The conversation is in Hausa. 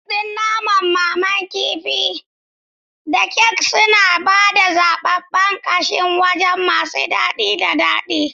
Kek ɗin naman, naman kifi, da kek suna ba da zaɓen ƙasashen waje masu daɗi da daɗi.